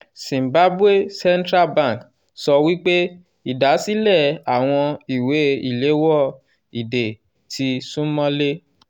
zimbabwe central bank sọ wípé ìdásílẹ̀ àwọn ìwé ìléwọ́ ìdè ti súnmọ́lé